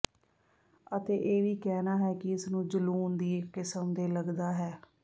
ਅਤੇ ਇਹ ਵੀ ਕਹਿਣਾ ਹੈ ਕਿ ਇਸ ਨੂੰ ਜਲੂਣ ਦੀ ਇੱਕ ਕਿਸਮ ਦੇ ਲੱਗਦਾ ਹੈ